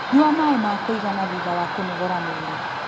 Nyua maĩ ma kũigana thutha wa kũnogora mwĩrĩ